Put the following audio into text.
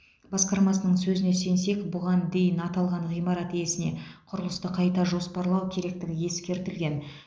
басқармасының сөзіне сенсек бұған дейін аталған ғимарат иесіне құрылысты қайта жоспарлау керектігі ескертілген